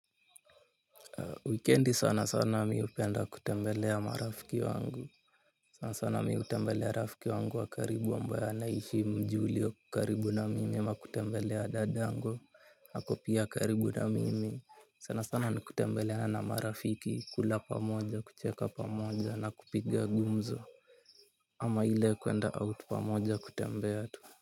Wikendi sana sana mimi hupenda kutembelea marafiki wangu. Sana sana mimi hutembelea rafiki wangu wa karibu ambaye anaishi mji ulio karibu na mimi ama kutembelea dadangu ako pia karibu na mimi. Sana sana nikutembeleana marafiki, kula pamoja, kucheka pamoja na kupiga gumzo ama ile kuenda out pamoja kutembea tu.